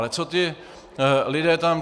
Ale co ti lidé tam?